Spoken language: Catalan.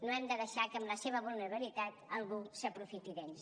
no hem de deixar que en la seva vulnerabilitat algú s’aprofiti d’ells